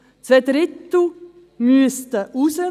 Zwei Drittel müssten raus.